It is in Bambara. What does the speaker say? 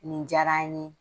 Nin diyara n ye